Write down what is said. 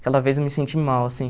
Aquela vez eu me senti mal, assim.